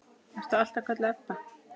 Ertu alltaf kölluð Ebba?